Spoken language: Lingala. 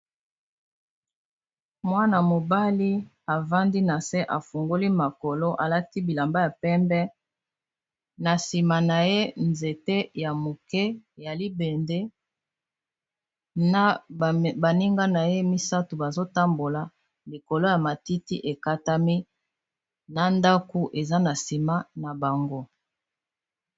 Mwana-mobali avandi na se afungoli makolo alati bilamba ya pembe na nsima na ye nzete ya moke ya libende na baninga na ye misato bazotambola likolo ya matiti ekatami na ndaku eza na nsima na bango.